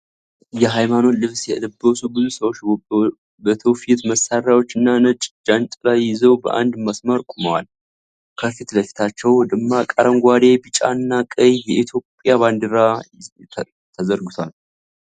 የሃይማኖት ልብስ የለበሱ ብዙ ሰዎች በትውፊት መሳሪያዎችና ነጭ ጃንጥላ ይዘው በአንድ መስመር ቆመዋል። ከፊት ለፊታቸው ደማቅ አረንጓዴ፣ ቢጫና ቀይ የኢትዮጵያ ባንዲራ ተዘርግቷል።